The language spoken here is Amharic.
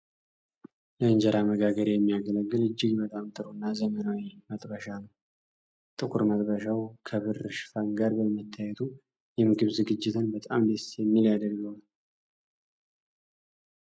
ለእንጀራ መጋገሪያ የሚያገለግል እጅግ በጣም ጥሩ እና ዘመናዊ መጥበሻ ነው። ጥቁር መጥበሻው ከብር ሽፋን ጋር በመታየቱ የምግብ ዝግጅትን በጣም ደስ የሚል ያደርገዋል።